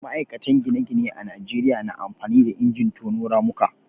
ma'aikatan gine-gine a Najeriya na amfani da injin tono ramuka